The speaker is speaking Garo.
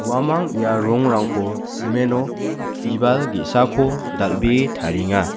uamang ia rongrangko cement-o bibal ge·sako dal·bee tarienga.